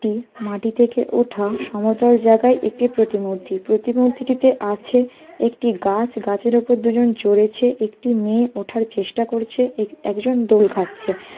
টি মাটি থেকে ওঠা সমতল জায়গায় একটি প্রটিমূর্তি । প্রতিমূর্তি টিতে আছে একটি গা-আছ। গাছের উপর দুজন চড়েছে একটি মেয়ে ওঠার চেষ্টা করেছে। এ একজন দোল খাচ্ছে।